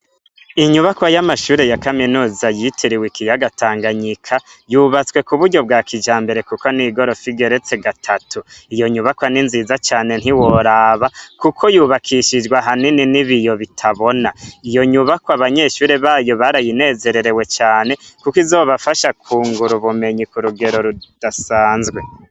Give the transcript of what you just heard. Inyubakwa y'amashure ya kaminuza yitiriwe ikiyaga tanganyika yubatswe ku buryo bwa kija mbere, kuko n'igorofa igeretse gatatu iyo nyubakwa ni nziza cane ntiworaba, kuko yubakishijwe hanini ni biyo bitabona iyo nyubakwa abanyeshure bayo barayinezererewe cane, kuko izobafasha kungura ubumenyi ko rugero rudasanzwe.